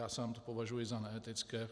Já sám to považuji za neetické.